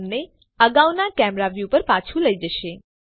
આ તમને અગાઉના કેમેરા વ્યુ પર પાછું લઇ જશે